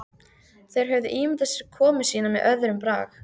Þeir höfðu ímyndað sér komu sína með öðrum brag.